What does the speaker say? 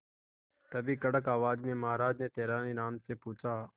तभी कड़क आवाज में महाराज ने तेनालीराम से पूछा